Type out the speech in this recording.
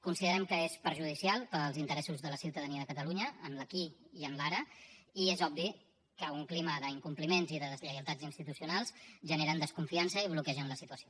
considerem que és perjudicial per als interessos de la ciutadania de catalunya en l’aquí i en l’ara i és obvi que un clima d’incompliments i de deslleialtats institucionals genera desconfiança i bloqueja la situació